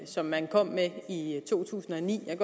som man kom med i to tusind og ni jeg